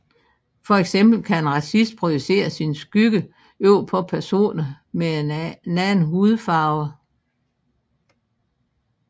For eksempel kan en racist projicere sin skygge over på personer med en anden hudfarve